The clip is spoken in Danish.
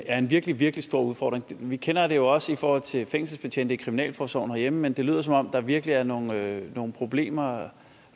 er en virkelig virkelig stor udfordring vi kender det jo også i forhold til fængselsbetjente i kriminalforsorgen herhjemme men det lyder som om der virkelig er nogle nogle problemer og